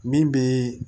Min bɛ